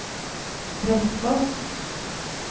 Prestfoss